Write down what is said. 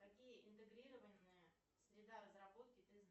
какие интегрированные среда разработки ты знаешь